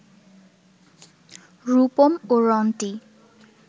রূপম ও রন্টি